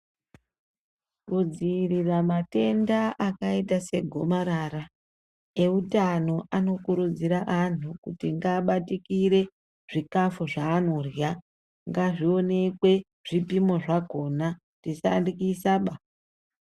Kudziirira matenda akaita segomarara, eutano anokurudzira anhu kuti ngaabatikire zvikafu zvaanorya, ngazvionekwe zvipimo zvakona. tisandyisaba!